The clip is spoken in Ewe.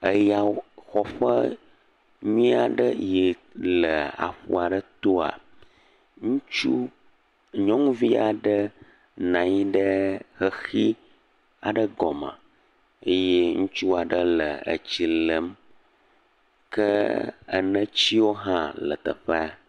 Yaxɔƒe nyui aɖe yi le aƒu aɖe toa, ŋutsu, nyɔnuvi aɖe nɔ anyi ɖe xexi aɖe gɔme eye ŋutsu aɖe le tsi lém ke enetsiwo hã le teƒea.